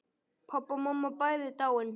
Pabbi og mamma bæði dáin.